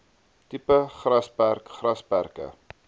tipe grasperk grasperke